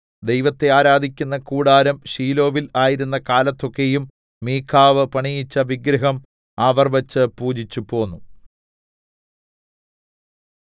ദൈവത്തെ ആരാധിക്കുന്ന കൂടാരം ശീലോവിൽ ആയിരുന്ന കാലത്തൊക്കെയും മീഖാവ് പണിയിപ്പിച്ച വിഗ്രഹം അവർ വച്ച് പൂജിച്ചുപോന്നു